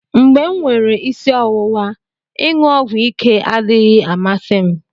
mgbe m nwere isi ọwụwa, iṅụ ọgwụ ike adịghị amasị m